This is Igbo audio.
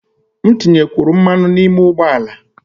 M tinyekwuru mmanụ n'ime ụgbọ ala